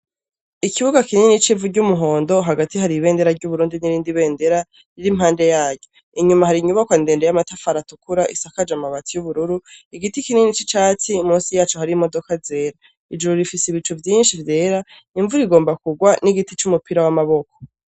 Ikibuga kinini c'ivu ry'umuhondo, hagati hari ibendera ry'Uburundi n'irindi bendera, riri impande ya ryo. Inyuma hari inyubakwa ndende y'amatafari atukura isakaje amabati y'ubururu, igiti kinini c'icatsi munsi ya co hari imodoka zera. Ijuru rifise ibicu vyinshi vyera, imvura igomba kurwa, n'igiti c'umupira w'amaboko.